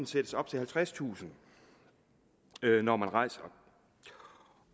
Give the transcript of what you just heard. sættes op til halvtredstusind kr når man rejser